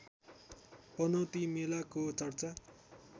पनौती मेलाको चर्चा